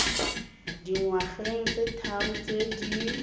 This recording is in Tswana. dingwageng tse tharo tse di